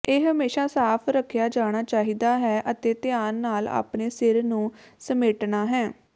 ਇਹ ਹਮੇਸ਼ਾ ਸਾਫ਼ ਰੱਖਿਆ ਜਾਣਾ ਚਾਹੀਦਾ ਹੈ ਅਤੇ ਧਿਆਨ ਨਾਲ ਆਪਣੇ ਸਿਰ ਨੂੰ ਸਮੇਟਣਾ ਹੈ